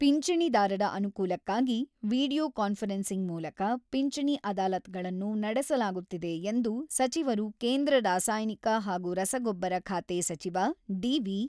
ಪಿಂಚಣಿದಾರರ ಅನುಕೂಲಕ್ಕಾಗಿ video conferencing ಮೂಲಕ ಪಿಂಚಣಿ ಅದಾಲತ್‌ಗಳನ್ನು ನಡೆಸಲಾಗುತ್ತಿದೆ ಎಂದು ಸಚಿವರು ಕೇಂದ್ರ ರಾಸಾಯನಿಕ ಹಾಗೂ ರಸಗೊಬ್ಬರ ಖಾತೆ ಸಚಿವ ಡಿ.ವಿ.